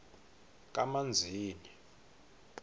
kamanzini